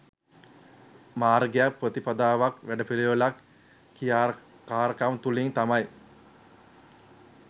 මාර්ගයක් ප්‍රතිපදාවක් වැඩපිළිවෙලක් ක්‍රියාකාරකමක් තුළින් තමයි